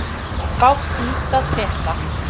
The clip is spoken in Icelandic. Fátt nýtt að frétta